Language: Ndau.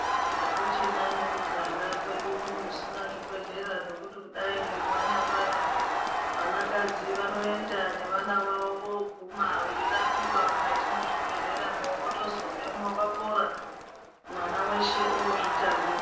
Hakuchina nemuganga kwedu uno uchisina chibhedhlera, zvekuti kudai mwiri wanyapanda, vanakadzi vanoenda nevana vavo, voguma veirapiwa mukati mezvibhedhleramo votozobvemo vapora, mwana weshe ozvitambira.